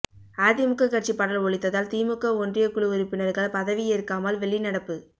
அதிமுக கட்சிப் பாடல் ஒலித்ததால் திமுக ஒன்றியக் குழு உறுப்பினா்கள் பதவி ஏற்காமல் வெளிநடப்பு